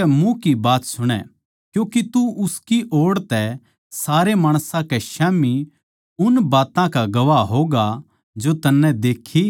क्यूँके तू उसकी ओड़ तै सारे माणसां कै स्याम्ही उन बात्तां का गवाह होगा जो तन्नै देक्खी अर सुणी सै